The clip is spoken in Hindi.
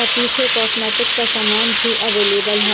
और पीछे कॉस्मेटिक का सामान भी अवेलेबल है।